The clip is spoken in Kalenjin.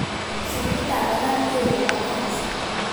sugulit ab barak neo nebo cancer